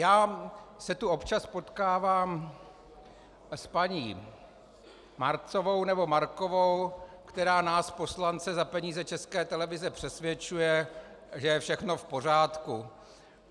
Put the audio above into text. Já se tu občas potkávám s paní Marcovou, nebo Markovou, která nás poslance za peníze České televize přesvědčuje, že je všechno v pořádku.